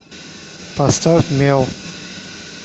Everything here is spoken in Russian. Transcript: поставь мел